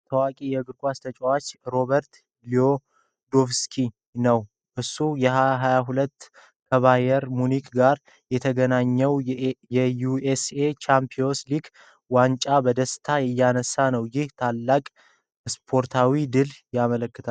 ታዋቂው የእግር ኳስ ተጫዋች ሮበርት ሌዋንዶቭስኪን ነው ። እሱ በ2020 ከባየር ሙኒክ ጋር ያገኘውን የዩኤኤፍ ቻምፒየንስ ሊግ ዋንጫ በደስታ እያነሳ ነው ። ይህም የታላቅ ስፖርታዊ ድልን ያመለክታል።